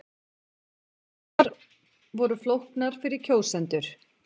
Kosningarnar voru flóknar fyrir kjósendur